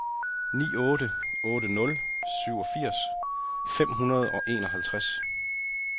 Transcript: ni otte otte nul syvogfirs fem hundrede og enoghalvtreds